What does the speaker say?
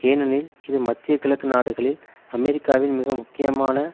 ஏனெனில் இது மத்திய கிழக்கு நாடுகளில் அமெரிக்காவின் மிக முக்கியமான